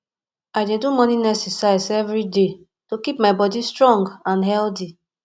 i dey do morning exercise every day to keep my body strong and healthy